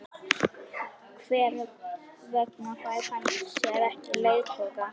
Hver vegna fær hann sér ekki leiðtoga?